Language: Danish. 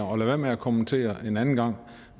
være med at kommentere en anden gang